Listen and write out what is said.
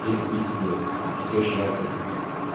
и это пиздец я теперь жрать хочу ещё